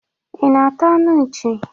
Ị na-ata anụ nchị?